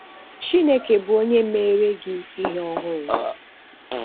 Chínèké bụ onye mere gị ihe ọhùrù.